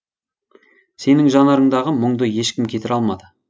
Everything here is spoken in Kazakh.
сенің жанарыңдағы мұңды ешкім кетіре алмады